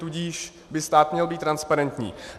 Tudíž by stát měl být transparentní.